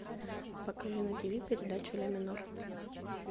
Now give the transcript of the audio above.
покажи на ти ви передачу ля минор